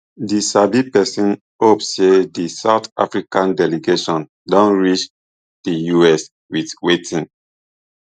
di sabi pesin hope say di south africa delegation don reach di us wit wetin